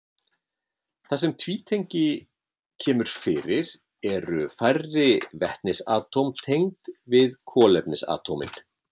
Þar sem tvítengi kemur fyrir eru færri vetnisatóm tengd við kolefnisatómin.